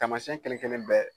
Taamasiɲɛn kelen kelen bɛɛ